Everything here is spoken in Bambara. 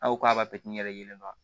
Aw k'a b'a pɛtɛ n'i yɛrɛ ye yɛlɛma